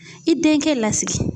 I denkɛ lasigi